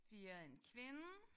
4 en kvinde